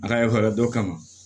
A ka yɔrɔ dɔ kama